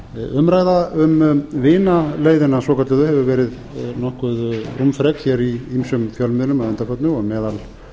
umræða um vinaleiðina svokölluðu hefur verið nokkuð rúmfrek í ýmsum fjölmiðlum að undanförnu og meðal